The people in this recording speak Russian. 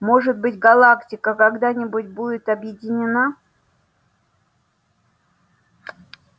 может быть галактика когда-нибудь будет объединена